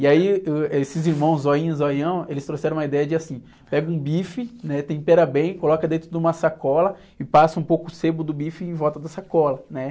E aí, uh, esses irmãos Zoinho e Zoião, eles trouxeram uma ideia de, assim, pega um bife, né? Tempera bem, coloca dentro de uma sacola e passa um pouco o sebo do bife em volta da sacola, né?